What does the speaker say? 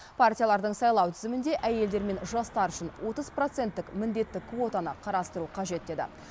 партиялардың сайлау тізімінде әйелдер мен жастар үшін отыз проценттік міндетті квотаны қарастыру қажет деді